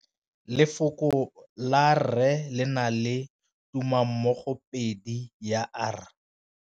Lefoko la rre le na le tumammogôpedi ya, r.